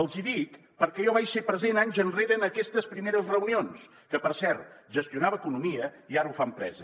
els hi dic perquè jo vaig ser present anys enrere en aquestes primeres reunions que per cert gestionava economia i ara ho fa empresa